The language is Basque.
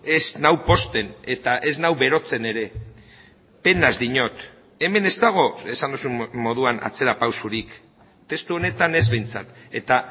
ez nau pozten eta ez nau berotzen ere penaz diot hemen ez dago esan duzun moduan atzerapausorik testu honetan ez behintzat eta